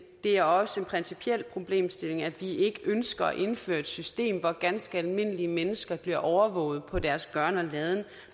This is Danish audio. det er også en principiel problemstilling at vi ikke ønsker at indføre et system hvor ganske almindelige mennesker bliver overvåget på deres gøren og laden